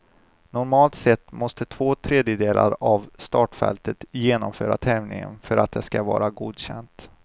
Normalt sett måste två tredjedelar av startfältet genomföra tävlingen för att det skall vara godkänt.